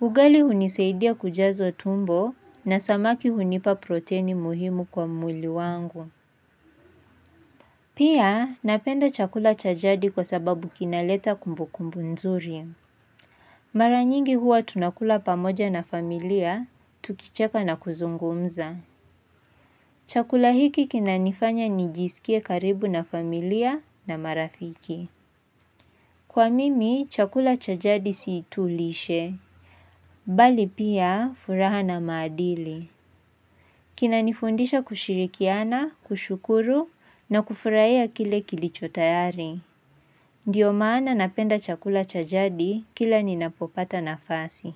Ugali unisaidia kujaza tumbo na samaki hunipa proteni muhimu kwa mwili wangu. Pia napenda chakula cha jadi kwa sababu kinaleta kumbukumbu nzuri. Maranyingi huwa tunakula pamoja na familia, tukicheka na kuzungumza. Chakula hiki kinanifanya nijihisi karibu na familia marafiki. Kwa mimi, chakula cha jadi siitu lishe, bali pia furaha na maadili. Kina nifundisha kushirikiana, kushukuru na kufurahia kile kilicho tayari. Ndiyo maana napenda chakula cha jadi kila ninapopata nafasi.